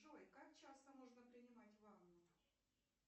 джой как часто можно принимать ванну